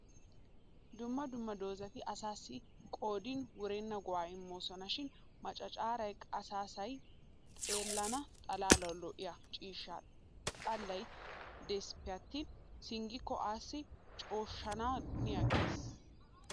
Dumma dumma doozati asaassi qoodin wurenna go'aa immoosona. Shin machchaaray qassiasay xeellana xalaalawu lo'iya ciishsha xallay deesippe attin singgikko asaa cooshshana haniiggees.